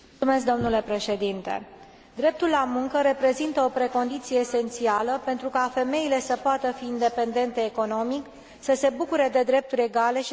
Dreptul la muncă reprezintă o precondiție esențială pentru ca femeile să poată fi independente economic, să se bucure de drepturi egale și de satisfacții profesionale.